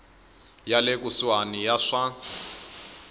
ya le kusuhani ya swa